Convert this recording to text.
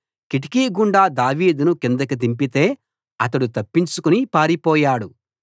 కిటికీగుండా దావీదును కిందికి దింపితే అతడు తప్పించుకుని పారిపోయాడు